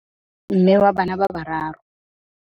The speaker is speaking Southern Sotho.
mme wa bana ba bararo